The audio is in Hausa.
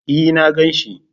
E na gani shi.